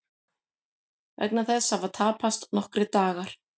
Vegna þess hafa tapast nokkrir dagar